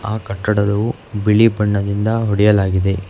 ಆ ಕಟ್ಟಡದವು ಬಿಳಿ ಬಣ್ಣದಿಂದ ಹೊಡೆಯಲಾಗಿದೆ.